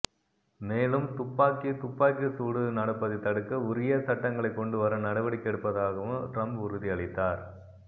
மேலும் துப்பாக்கி துப்பாக்கி சூடு நடப்பதை தடுக்க உரிய சட்டங்களை கொண்டுவர நடவடிக்கை எடுப்பதாகவும் டிரம்ப் உறுதி அளித்தார்